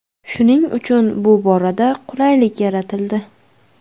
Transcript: Shuning uchun bu borada qulaylik yaratildi.